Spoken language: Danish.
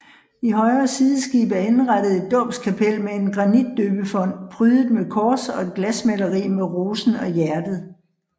I højre sideskib er indrettet et dåbskapel med en granitdøbefont prydet med kors og et glasmaleri med rosen og hjertet